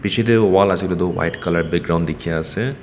pichey deh wall asey kuilehdu white colour background dikhia asey.